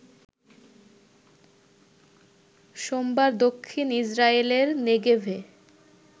সোমবার দক্ষিন ইসরায়েলের নেগেভে